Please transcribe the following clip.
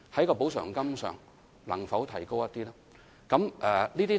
特惠津貼能否略為提高呢？